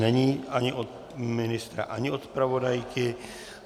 Není ani od ministra ani od zpravodajky.